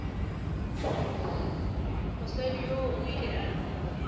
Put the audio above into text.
mosadi yoo o ile a